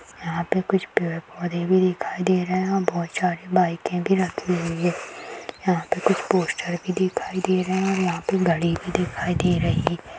यहाँ पर कुछ पेड़-पौधे भी दिखाई दे रहे है और बहुत सारी बाइके भी रखी हुई है यहाँ पे कुछ पोस्टर भी दिखाई दे रहे है यहाँ पे गाड़ी भी दिखाई दे रही है।